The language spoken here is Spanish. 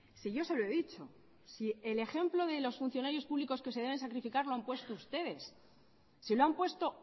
si yo se lo he dicho si el ejemplo de los funcionarios públicos que se deben sacrificar lo han puesto ustedes si lo han puesto